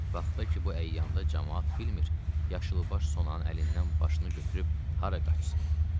Vaxta ki bu əyyamda camaat bilmir, yaşılbaş sonanın əlindən başını götürüb hara qaçsın.